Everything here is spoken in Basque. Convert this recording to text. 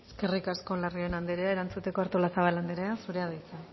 eskerrik asko larrion andrea erantzuteko artolazabal andrea zurea da hitza